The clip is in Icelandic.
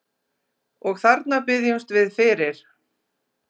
Og þarna biðjumst við fyrir